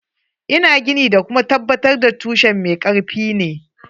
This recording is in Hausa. Ina gini da kuma tabbatar da tushen mai karfi ne.